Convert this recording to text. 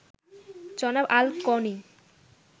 জনাব আল-কোনি